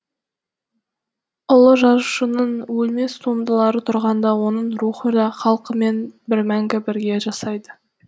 ұлы жазушының өлмес туындылары тұрғанда оның рухы ла халқымен бір мәңгі бірге жасайды